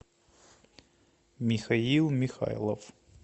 михаил михайлов